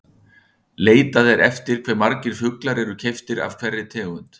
Leitað er eftir hve margir fuglar eru keyptir af hverri tegund.